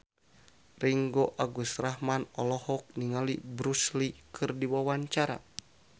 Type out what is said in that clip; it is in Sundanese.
Ringgo Agus Rahman olohok ningali Bruce Lee keur diwawancara